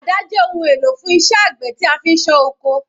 Àdá jẹ́ ohun èlò fún iṣẹ́ àgbẹ̀ tí a fi ń ṣán oko.